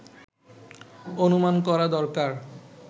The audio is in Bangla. অনুমান করা দরকার